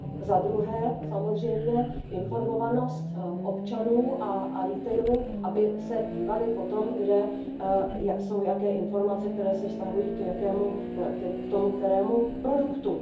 Za druhé, samozřejmě informovanost občanů a retailu aby se dívali po tom, kde jsou jaké informace, které se vztahují k tomu kterému produktu.